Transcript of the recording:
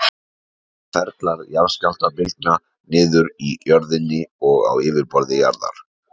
Ferlar jarðskjálftabylgna niður í jörðinni og á yfirborði jarðar.